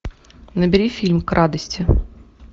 набери фильм к радости